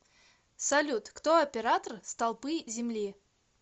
салют кто оператор столпы земли